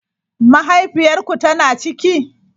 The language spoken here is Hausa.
Mahaifiyar ku tana ciki?